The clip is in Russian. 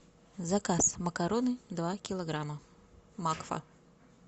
заказ макароны два килограмма макфа